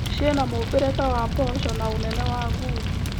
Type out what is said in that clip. Ciĩna mũmbĩre ta wa mboco na ũnene wa ngundi